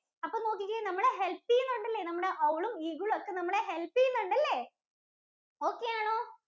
അപ്പൊ നോക്കിക്കേ. നമ്മളെ help ചെയ്യുന്നുണ്ട് നമ്മളെ owl ഉം, eagle ഉം ഒക്കെ നമ്മളെ help ചെയ്യുന്നുണ്ട് അല്ലേ? Okay ആണോ?